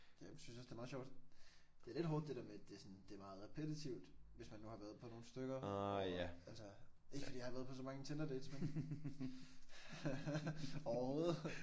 Jeg synes også det er meget sjovt. Det er lidt hårdt det der med det sådan at det er meget repetitivt hvis man nu har været på nogle stykker hvor altså ikke fordi jeg har været på så mange Tinderdates men overhovedet